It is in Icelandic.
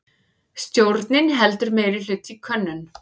Stjórnin heldur meirihluta í könnun